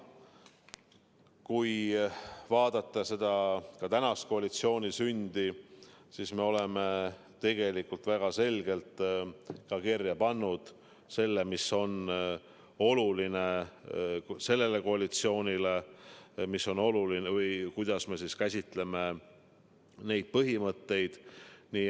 Kui vaadata ka tänase koalitsiooni sündi, siis me oleme tegelikult väga selgelt kirja pannud, mis on oluline sellele koalitsioonile ning kuidas me käsitleme neid põhimõtteid.